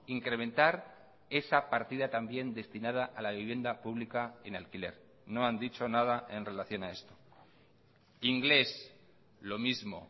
incrementar esa partida también destinada a la vivienda pública en alquiler no han dicho nada en relación a esto inglés lo mismo